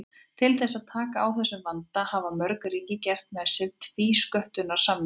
Til þess að taka á þessum vanda hafa mörg ríki gert með sér tvísköttunarsamninga.